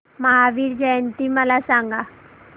महावीर जयंती मला सांगा